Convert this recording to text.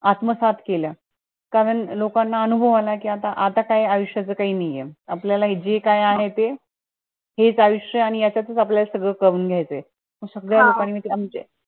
आपला सात केला. कारण लोकांना अनुभव आला की आता, आता काय आयुष्याचं काई नहिये, आपल्याला जे काही आहे ते एक आयुष्य आणि याचातच आपल्याला सगळे problem येते सगळ्या लोकांनी म्हणजे